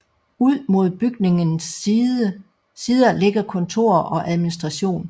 Ud mod bygningens sider ligger kontorer og administration